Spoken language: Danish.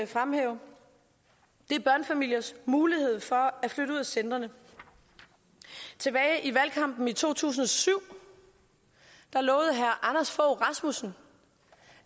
fremhæve er børnefamiliers mulighed for at flytte ud af centrene tilbage i valgkampen i to tusind og syv lovede herre anders fogh rasmussen